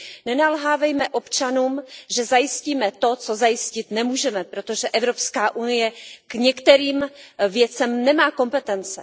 Nenalhávejme občanům, že zajistíme to, co zajistit nemůžeme, protože Evropská unie k některým věcem nemá kompetence.